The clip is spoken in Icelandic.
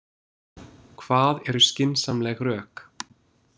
Hvað eru skynsamleg rök?